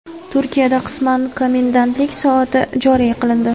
Turkiyada qisman komendantlik soati joriy qilindi.